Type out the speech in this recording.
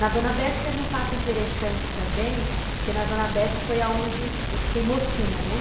Na Dona Bete teve um fato interessante também, porque na Dona Bete foi onde eu fiquei mocinha, né?